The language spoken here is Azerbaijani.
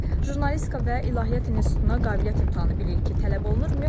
Jurnalistika və İlahiyyat İnstitutuna qabiliyyət imtahanı bilirik ki, tələb olunur.